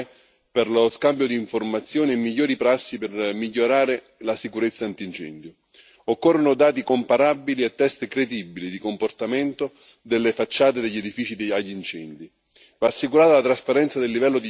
Condivido la proposta di una piattaforma UE per lo scambio di informazioni e migliori prassi per migliorare la sicurezza antincendio. Occorrono dati comparabili e test credibili di comportamento delle facciate degli edifici in caso di incendio.